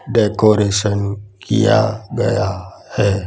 Decoration किया गया है।